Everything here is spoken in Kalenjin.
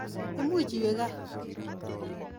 Imuch iwe kaa.